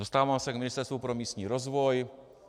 Dostávám se k Ministerstvu pro místní rozvoj.